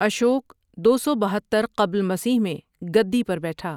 اشوک دو سو بہتر قبل مسیح میں گدّی پر بیٹھا ۔